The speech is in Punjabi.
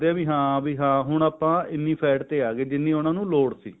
ਵੀ ਹਾਂ ਵੀ ਹਾਂ ਹੁਣ ਆਪਾਂ ਇੰਨੀ fat ਤੇ ਅੱਗੇ ਜਿੰਨੀ ਉਹਨਾ ਨੂੰ ਲੋੜ ਸੀ